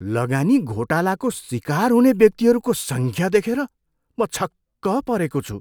लगानी घोटालाको सिकार हुने व्यक्तिहरूको सङ्ख्या देखेर म छक्क परेको छु।